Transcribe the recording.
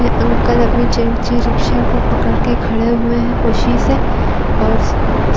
ये अंकल अपने रिक्शा को पकड़के खड़े हुए है ख़ुसी से और